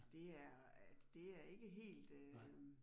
Det er det er ikke helt øh